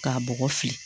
K'a bɔgɔ fili